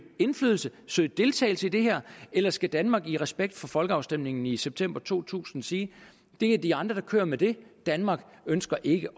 indflydelse søge deltagelse i det her eller skal danmark i respekt for folkeafstemningen i september to tusind sige det er de andre der kører med det danmark ønsker ikke